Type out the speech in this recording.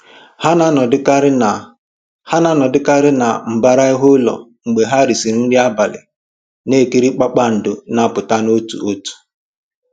Ha na-anọdụkarị na Ha na-anọdụkarị na mbara ihu ụlọ mgbe ha risịrị nri abalị, na-ekiri kpakpando na-apụta otu otu